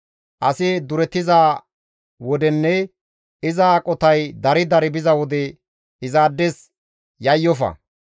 Asi duretiza wodenne iza aqotay dari dari biza wode izaades yayyofa.